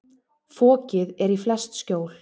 Fokið er í flest skjól.